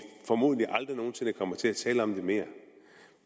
formodentlig aldrig nogen sinde kommer til at tale om det mere